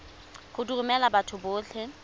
go di romela batho botlhe